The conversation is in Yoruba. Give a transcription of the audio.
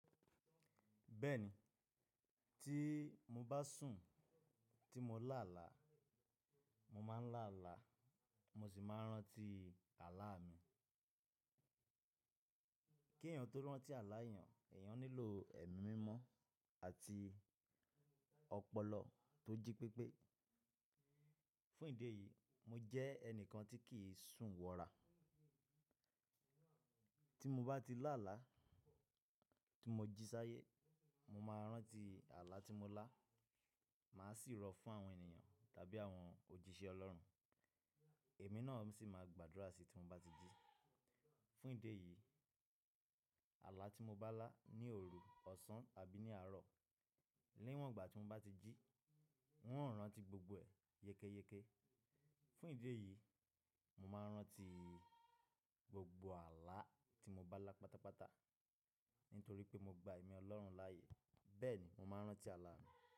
Bẹ́ẹ̀ni, tí mo bá sùn tí mo lá àlá, mo máa ń lá àlá, mo sì máa ń rántí àlá mi. Kí èèyàn tó rántí àlá èèyàn, èèyàn nílò ẹ̀mí mímọ́ àti ọpọlọ tó jí pépé. Fún ìdí èyí, mo jẹ́ ẹnìkan tí kì í sùn wọra. Tí mo bá ti lá àlá, tí mo jí sáyé, mo máa rántí àlá tí mo lá, màá sì rọ fún àwọn ènìyàn tàbí àwọn òjíṣẹ́ Ọlọ́run. Èmi náà sì máa gbàdúrà sí i tí mo bá ti jí. Fún ìdí èyí, àlá tí mo bá lá ní òru, ọ̀sán àbí ní àárọ̀, niwọ̀n ìgbà tí mo bá ti jí, un ó rántí gbogbo ẹ̀ yékéyéké. Fún ìdí èyí, mo máa ń rántí gbogbo àlá tí mo bá lá pátápátá nítorí pé mo gba ẹ̀mí Ọlọ́run láàyè. Bẹ́ẹ̀ ni, mo máa ń rántí àlá mi.